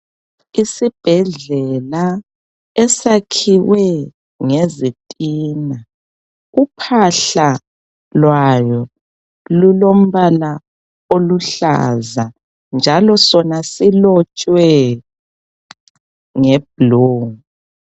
Isibhedlela esakhiwe ngezitina uphahla lwayo lulombala oluhlaza njalo sona silotshwe ngeblue.